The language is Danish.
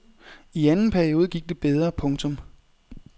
I anden periode gik det bedre. punktum